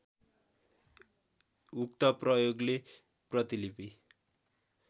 उक्त प्रयोगले प्रतिलिपि